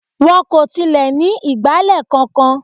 Wọn kò tilẹ̀ ní ìgbálẹ̀ kankan.